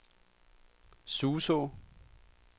Suså